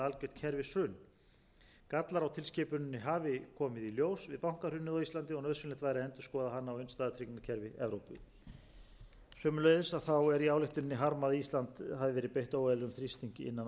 kerfishrun gallar á tilskipuninni hafi komið í ljós við bankahrunið á íslandi og nauðsynlegt væri að endurskoða hana og innstæðutryggingakerfi evrópu sömuleiðis er í ályktuninni harmað að ísland hafa verið beitt óeðlilegum þrýstingi innan alþjóðagjaldeyrissjóðsins þingmaðurinn biðst forláts